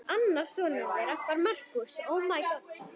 Annar sonur þeirra var Markús.